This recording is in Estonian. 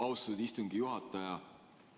Austatud istungi juhataja!